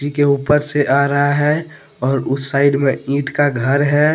के ऊपर से आ रहा है और उस साइड में ईंट का घर है ।